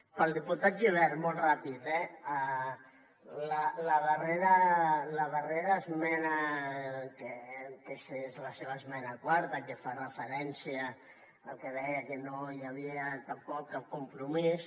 per al diputat gibert molt ràpid eh la darrera esmena que és la seva esmena quarta que fa referència al que deia que no hi havia tampoc cap compromís